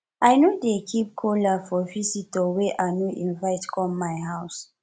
i no dey keep kola for visitor wey i no invite come my house